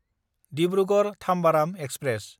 Dibrugarh-Tambaram express